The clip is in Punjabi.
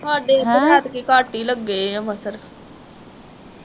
ਹਾਡੇ ਇਧਰ ਐਤਕੀ ਘੱਟ ਈ ਲੱਗੇ ਆ ਮੱਛਰ